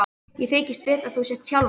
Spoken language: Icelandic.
Ég þykist vita að þú sért Hjálmar.